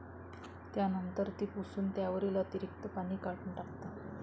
त्यानंतर ती पुसून त्यावरील अतिरीक्त पाणी काढून टाकतात.